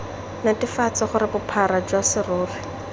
netefatse gore bophara jwa serori